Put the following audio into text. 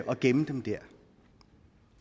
og gemme dem der